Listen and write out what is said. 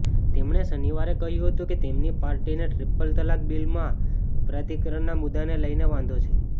તેમણે શનિવારે કહ્યું કે તેમની પાર્ટીને ટ્રિપલ તલાક બિલમાં અપરાધીકરણનાં મુદ્દાને લઇને વાંધો છે